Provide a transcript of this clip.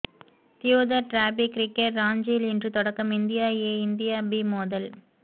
Deodhar trophy cricket ராஞ்சியில் இன்று தொடக்கம் இந்தியா ஏ இந்தியா பி மோதல்